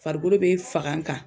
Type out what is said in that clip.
Farikolo be faga kan